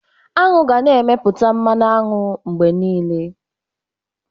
Aṅụ ga-na emepụta mmanụ aṅụ mgbe niile.